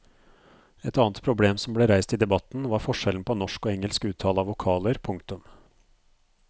Et annet problem som ble reist i debatten var forskjellen på norsk og engelsk uttale av vokaler. punktum